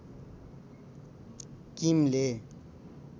किमले